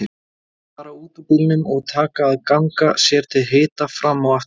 Þeir fara út úr bílnum og taka að ganga sér til hita fram og aftur.